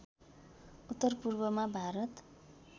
उत्तर पूर्वमा भारत